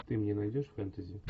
ты мне найдешь фэнтези